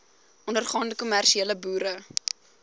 ondergaande kommersiële boere